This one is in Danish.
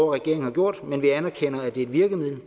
regeringen har gjort men vi anerkender at det er et virkemiddel